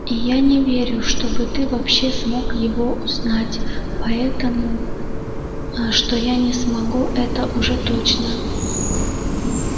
и я не верю чтобы ты вообще смог его узнать поэтому что я не смогу это уже точно